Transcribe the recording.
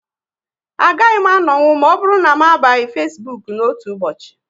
A gaghị m anonwu ma ọbụrụ na m abaghị Facebook n'otu ụbọchị